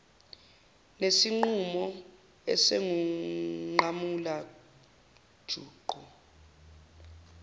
zesinqumo esingunqamula juqu